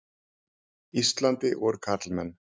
Íslandi voru karlmenn.